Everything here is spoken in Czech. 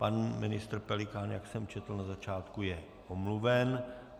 Pan ministr Pelikán, jak jsem četl na začátku, je omluven.